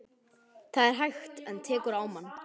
Það er hægt. en tekur á mann.